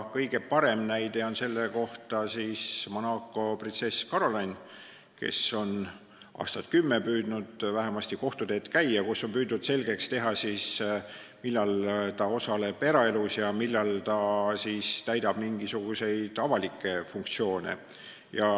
Kõige parem näide on Monaco printsess Caroline, kes on vähemasti aastaid kümme käinud kohtuteed, kus on püütud selgeks teha, millal on tegu tema eraeluga ja millal ta täidab mingisuguseid avalikke funktsioone.